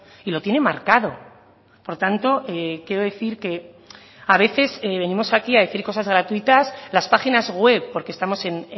y lo tiene marcado por tanto quiero decir que a veces venimos aquí a decir cosas gratuitas las páginas web porque estamos en